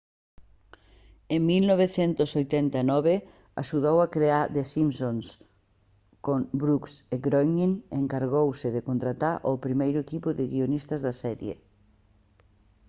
en 1989 axudou a crear the simpsons con brooks e groening e encargouse de contratar ao primeiro equipo de guionistas da serie